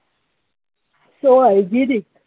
So hygenic